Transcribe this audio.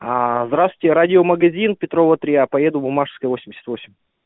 аа здравствуйте радиомагазин петрова три я поеду в буммашевская восемьдесят восемь